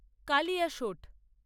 Kaliasot